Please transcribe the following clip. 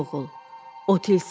Ey oğul, o tilsimlidir.